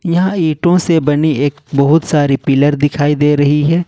यह ईटों से बनी एक बहुत सारी पिलर दिखाई दे रही है।